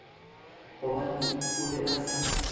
gobane o be a sa